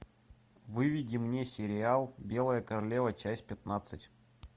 выведи мне сериал белая королева часть пятнадцать